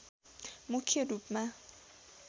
मुख्य रूपमा